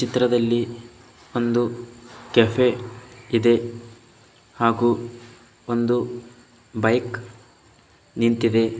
ಚಿತ್ರದಲ್ಲಿ ಒಂದು ಕೆಫೆ ಇದೆ ಹಾಗೂ ಒಂದು ಬೈಕ್ ನಿಂತಿದೆ.